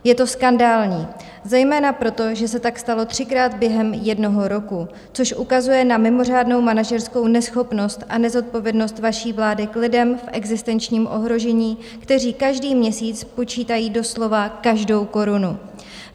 Je to skandální zejména proto, že se tak stalo třikrát během jednoho roku, což ukazuje na mimořádnou manažerskou neschopnost a nezodpovědnost vaší vlády k lidem v existenčním ohrožení, kteří každý měsíc počítají doslova každou korunu.